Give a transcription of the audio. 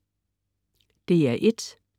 DR1: